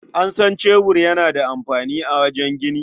An san cebur yana da amfani a wajen gini.